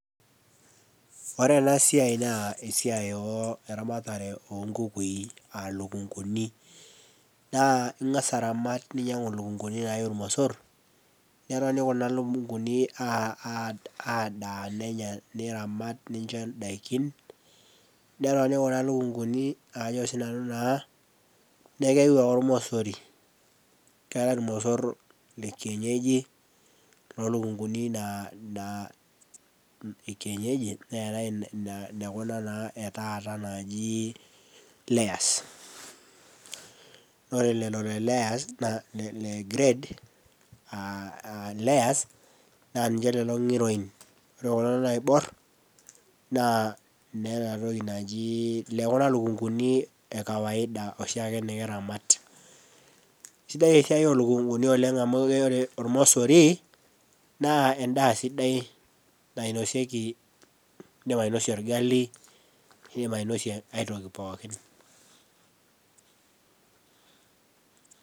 Ore ena siai naa esiai eramatare onkukui aa lukunkuni. Ingas ainyangu niramat lukunkuni naaiyu ormosor, neitoni kuna lukunkuni adaa niramat nicho ndaikin. Netoni kuna lukunkuni neeku keyieu ake ormosori, keetae ormosor lekienyeji lolukunkuni ekienyeji ,neetae naa nekuna taata naaji [cs[layers naa ore lelo le layers naa ninche lelo ngiroin ore kulo loibor naa lekuna lukunkuni ekawaida oshiake nikiramat. Eisidai esiai olukunkuni oleng amu ore ormosori naa endaa sidai, nindim ainosie orgali, nindim ainosie ai toki pookin.